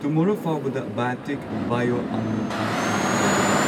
ꯇꯨꯝꯃꯣꯔꯣ ꯐꯥꯎꯕꯗ biotic bio ꯑꯥꯜꯃꯟꯗ ice cream ꯑꯗꯨ ꯂꯩꯒꯗ꯭ꯔꯥ?